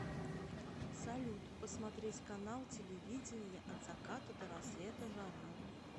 салют посмотреть канал телевидения от заката до рассвета жара